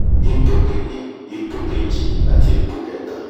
ipò kíní ipò kejì àti ipò kẹta